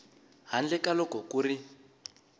handle ka loko ku ri